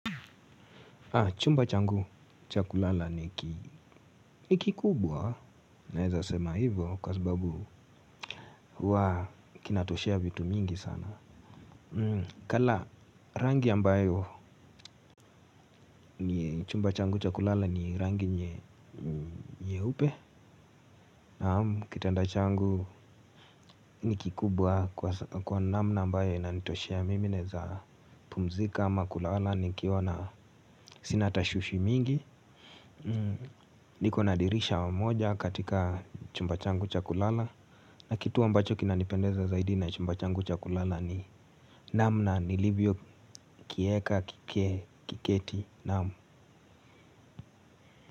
Chumba changu chakulala ni kikubwa na eza sema hivo kwa sababu huwa kinatoshea vitu mingi sana. Kala rangi ambayo ni chumba changu chakulala ni rangi nye upe. Kitanda changu ni kikubwa kwa namna ambayo inanitoshea mimi naeza pumzika ama kulala nikiwa na sina tashuishi mingi. Niko na dirisha moja katika chumbachangu chakulala na kitu ambacho kina nipendeza zaidi na chumbachangu chakulala ni namna ni livyo kieka kike kiketi naam.